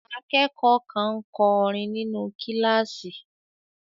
Akẹ́kọ̀ọ́ kan ń kọrin nínú kíláàsì.